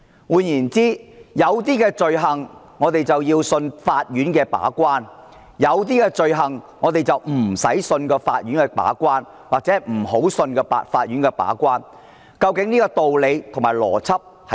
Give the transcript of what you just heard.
換言之，有一些罪類我們要相信法院的把關，有些罪類我們不需要相信法院把關，或者不要相信法院的把關，究竟道理和邏輯何在？